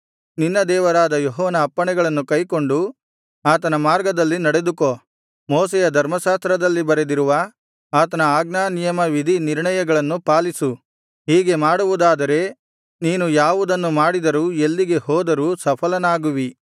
ನಿನ್ನ ದೇವರಾದ ಯೆಹೋವನ ಅಪ್ಪಣೆಗಳನ್ನು ಕೈಕೊಂಡು ಆತನ ಮಾರ್ಗದಲ್ಲಿ ನಡೆದುಕೋ ಮೋಶೆಯ ಧರ್ಮಶಾಸ್ತ್ರದಲ್ಲಿ ಬರೆದಿರುವ ಆತನ ಆಜ್ಞಾನಿಯಮವಿಧಿ ನಿರ್ಣಯಗಳನ್ನು ಪಾಲಿಸು ಹೀಗೆ ಮಾಡುವುದಾದರೆ ನೀನು ಯಾವುದನ್ನು ಮಾಡಿದರೂ ಎಲ್ಲಿಗೆ ಹೋದರೂ ಸಫಲನಾಗುವಿ